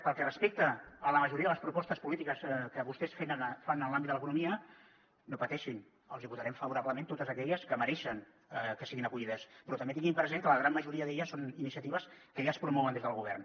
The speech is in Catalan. pel que respecta a la majoria de les propostes polítiques que vostès fan en l’àmbit de l’economia no pateixin els votarem favorablement totes aquelles que mereixen que siguin acollides però també tinguin present que la gran majoria d’elles són iniciatives que ja es promouen des del govern